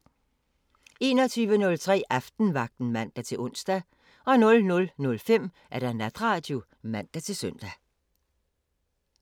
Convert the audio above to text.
21:03: Aftenvagten (man-ons) 00:05: Natradio (man-søn)